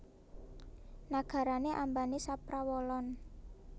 Nagarane ambane saprawolon